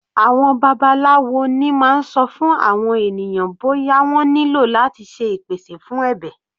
Àwọn babaláwo ni máa ń sọ fún àwọn ènìyàn bóyá wọ́n nílò láti ṣe ìpèsè fún ẹbẹ̀.